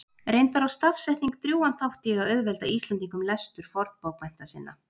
reyndar á stafsetning drjúgan þátt í að auðvelda íslendingum lestur fornbókmennta sinna